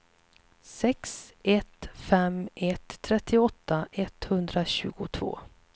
sex ett fem ett trettioåtta etthundratjugotvå